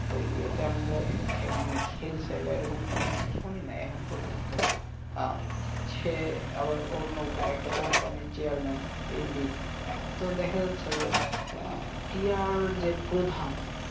তো ইয়ে তে আমরা খেলতে বা এরকম কোনোকিছু শুনি নাই এখনও পর্যন্ত আহ হচ্ছে আবার অন্য উপায় একটা company র chairman MD তো দেখা যাচ্ছে যে আহ ক্রীড়ার যে প্রধান,